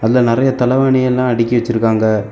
இதுல நெறைய தலவாணி எல்லா அடக்கி வச்சிருக்காங்க.